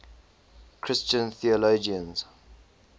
christian theologians